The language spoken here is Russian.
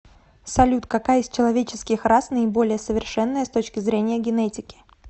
салют какая из человеческих рас наиболее совершенная с точки зрения генетики